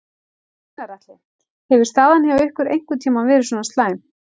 Gunnar Atli: Hefur staðan hjá ykkur einhvern tímann verið svona slæm?